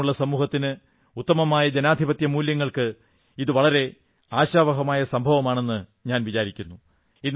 ആരോഗ്യമുള്ള സമൂഹത്തിന് ഉത്തമമായ ജനാധിപത്യമൂല്യങ്ങൾക്ക് ഇത് വളരെ ആശാവഹമായ സംഭവമാണെന്നു ഞാൻ വിചാരിക്കുന്നു